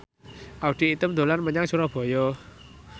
Audy Item dolan menyang Surabaya